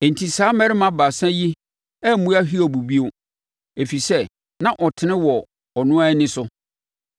Enti saa mmarima baasa yi ammua Hiob bio, ɛfiri sɛ, na ɔtene wɔ ɔno ara ani so.